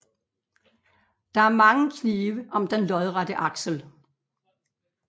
Der er mange knive om den lodrette aksel